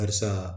Karisa